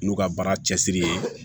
N'u ka baara cɛsiri ye